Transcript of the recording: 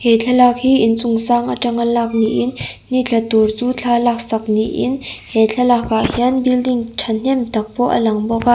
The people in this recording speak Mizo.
he thlalak hi in chung sang aṭanga lak niin ni tla tur chu thla lak sak niin he thlalak ah hian building ṭhahnem tak pawh a lang bawk a--